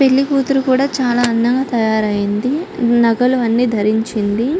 పెళ్లికూతురు కూడా చాలా అందంగా తయారయింది నగలు అన్నీ ధరించింది.